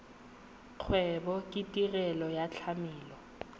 kgwebo ke tirelo ya tlamelo